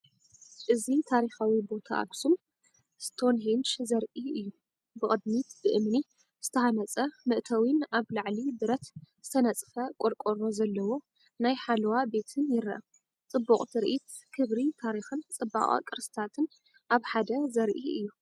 እዚ ታሪኻዊ ቦታ ኣኽሱም ስቶንሄንጅ ዘርኢ እዩ። ብቕድሚት ብእምኒ ዝተሃንጸ መእተዊን ኣብ ላዕሊ ብረት ዝተነጽፈ ቆርቆሮ ዘለዎ ናይ ሓለዋ ቤትን ይርአ። ጽቡቕ ትርኢት ክብሪ ታሪኽን ጽባቐ ቅርስታትን ኣብ ሓደ ዘርኢ እዩ።